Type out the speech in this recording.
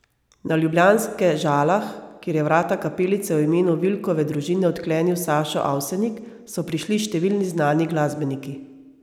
Na ljubljanske Žalah, kjer je vrata kapelice v imenu Vilkove družine odklenil Sašo Avsenik, so prišli številni znani glasbeniki.